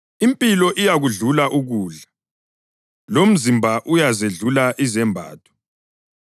Impilo iyakudlula ukudla, lomzimba uyazedlula izembatho.